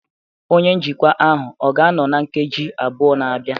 onye njikwa ahụ ọ ga-anọ na nkeji abụọ na-abịa?